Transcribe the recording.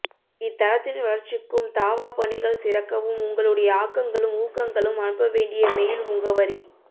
இத்தளத்தின் வளர்ச்சிக்கும் தாவா பணிகள் சிறக்கவும் உங்களுடைய ஆக்கங்களும் ஊக்கங்களும் அனுப்பவேண்டிய மெயில் முகவரி